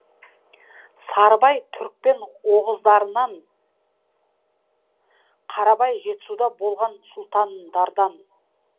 сарыбай түрікпен оғыздарынан қарабай жетісуда болған сұлтандардан